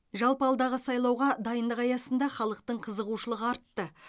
жалпы алдағы сайлауға дайындық аясында халықтың қызығушылығы артты